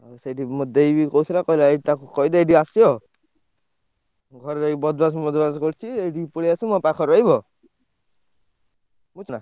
ଆଉ ସେଇଠି ମୋ ଦେଇ ବି କହୁଥିଲା କହିଲା ଏଇଠି ତାକୁ କହିଦେ ଏଇଠି ଆସିବ। ଘରେ ରହି ବଦମାସ ଫଦମାସ କରୁଚି ଏଇଠି ପଳେଇଆସୁ ମୋ ପାଖରେ ରହିବ। କହୁଥିଲା।